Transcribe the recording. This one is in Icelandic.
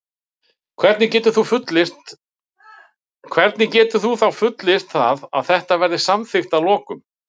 Hvernig getur þú þá fullyrt það að þetta verði samþykkt að lokum?